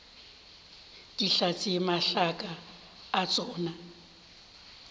di tlatše mašaka a tšona